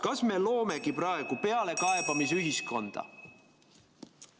Kas me loomegi praegu pealekaebamisühiskonda?